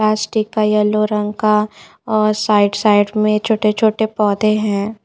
Plastic का yellow रंग का और साईड - साईड में छोटे-छोटे पौधे हैं।